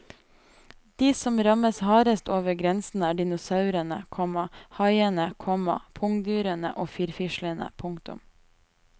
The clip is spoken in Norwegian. De som rammes hardest over grensen er dinosaurene, komma haiene, komma pungdyrene og firfislene. punktum